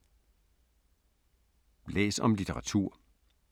Læs om litteratur